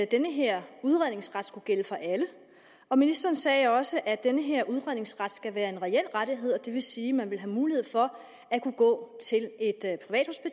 den her udredningsret skulle gælde for alle og ministeren sagde også at den her udredningsret skal være en reel rettighed det vil sige at man ville have mulighed for at kunne gå